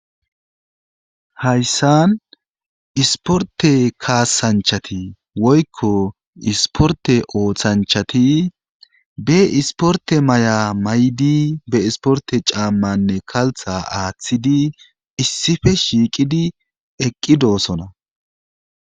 Hayssan isporte kaasanchati woykko isporte ooththanchati be isporte maya may'di be isporte caammanne kaltha aaththidi issife shiiqidi eqqi doosona.